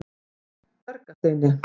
Dvergasteini